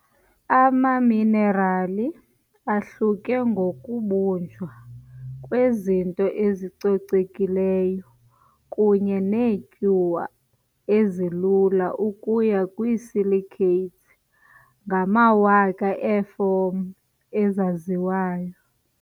Amaminerali ahluke ngokubunjwa kwezinto ezicocekileyo kunye neetyuwa ezilula ukuya kwi-silicates ngamawaka eefom ezaziwayo.